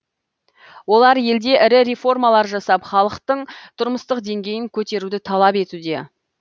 олар елде ірі реформалар жасап халықтың тұрмыстық деңгейін көтеруді талап етуде